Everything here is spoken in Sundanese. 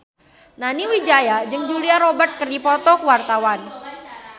Nani Wijaya jeung Julia Robert keur dipoto ku wartawan